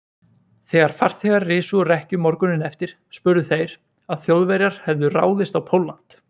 Þegar farþegar risu úr rekkju morguninn eftir, spurðu þeir, að Þjóðverjar hefðu ráðist á Pólland.